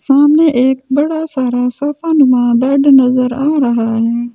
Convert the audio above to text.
सामने एक बड़ा सारा सोफ़ा अनुमा बेड नज़र आ रहा है ।